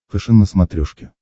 фэшен на смотрешке